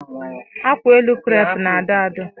Akwaelu krep na-adọ adọ.